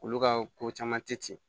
Olu ka ko caman te ten